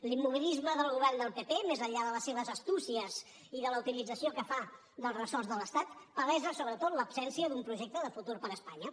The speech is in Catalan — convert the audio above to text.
l’immobilisme del govern del pp més enllà de les seves astúcies i de la utilització que fa dels ressorts de l’estat palesa sobretot l’absència d’un projecte de futur per a espanya